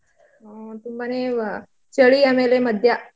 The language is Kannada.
ಹ್ಮ್ ತುಂಬಾನೇ ಹಾ ಚಳಿ ಆಮೇಲೆ ಮದ್ಯ.